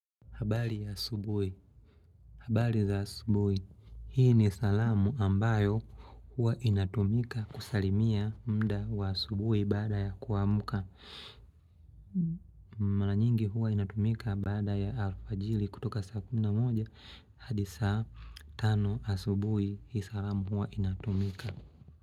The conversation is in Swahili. Habari ya asubuhi. Habari za asubuhi. Hii ni salamu ambayo huwa inatumika kusalimia mda wa asubuhi baada ya kuamka. Mara nyingi huwa inatumika baada ya alfajiri kutoka saa kumi na moja hadi saa tano asubuhi hii salamu huwa inatumika.